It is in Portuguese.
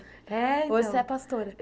É então Hoje você é pastora?